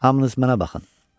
Hamınız mənə baxın.